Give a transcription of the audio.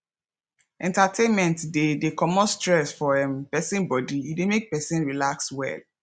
entertainment de de comot stress for um persin body e de make persin relax well